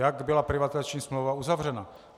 Jak byla privatizační smlouva uzavřena.